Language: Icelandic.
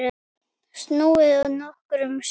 Snúið nokkrum sinnum.